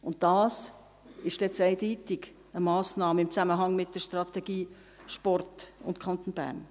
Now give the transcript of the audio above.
Und dies ist jetzt eindeutig eine Massnahme im Zusammenhang mit der Strategie Sport im Kanton Bern.